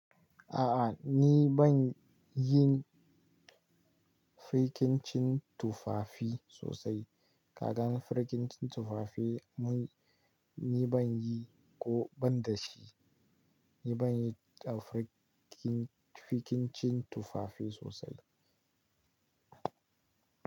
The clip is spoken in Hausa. A'a ni ban yin fikincin tufafi sosai. Kaga fikincin tufafi mun, ni ban yi ko ban da shi. Ni ban yi a fikincin tufafi sosai.